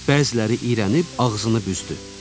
Bəziləri irənib ağzını büzdü.